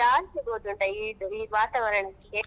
ತುಟಿ ಒ~ ಒಡಿಯುದು ಉಂಟಲ್ಲಾ ಅದು ಅದು ಈಗ ಜಾಸ್ತಿ ಗೊತ್ತುಂಟಾ ಈ~ ವಾತಾವರಣಕ್ಕೆ.